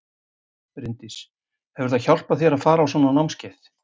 Bryndís: Hefur það hjálpað þér að fara á svona námskeið?